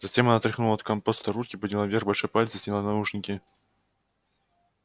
затем она отряхнула от компоста руки подняла вверх большой палец и сняла наушники